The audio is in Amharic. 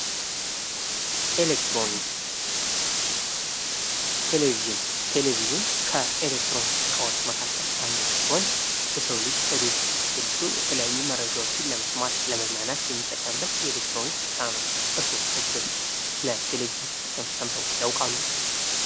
ኤሌክትሮኒክስ ፦ ቴሌቪዥን ፦ ቴሌቪዥን ከኤሌክትሮኒክስ እቃዎች መካከል አንዱ ሲሆን የሰው ልጅ በቤቱ ውስጥ አስገብቶ የተለያዩ መረጃዎችን ለመስማት ፣ የመዝናናት የሚጠቀመበት የኤሌክትሮኒክስ ዕቃ ነው ። እርሶ ከዚህ በፊት ስለ ቴሌቪዥን ጥቅም ሰምተው ያውቃሉ ?